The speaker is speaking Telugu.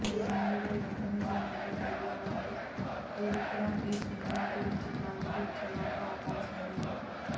మరి ఇందులో ఎంత నిజం ఉందో తెలియాలంటే త్రివిక్రమ్ ఈ సినిమా గురించి క్లారిటీ ఇచ్చేదాకా ఆగాల్సిందే